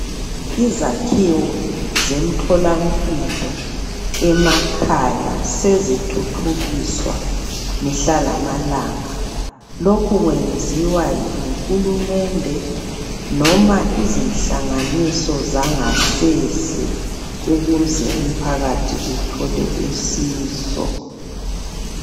Izakhiwo zemtholampilo emakhaya sezithuthukiswa mihla lamalanga, lokhu kwenziwa nguhulumende nome izinhlanganiso zangasese ukuze umphakathi uthole usizo.